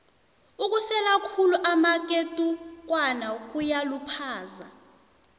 ukusela khulu amaketukwana kuyaluphaza